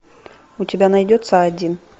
у тебя найдется один